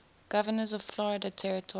governors of florida territory